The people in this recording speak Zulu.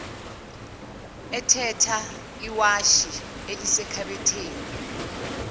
ethatha iwashi elisekhabetheni